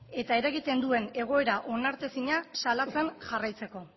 eta eragiten duen egoera onartezina salatzen jarraitzeko